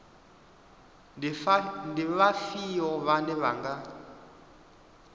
ndi vhafhio vhane vha nga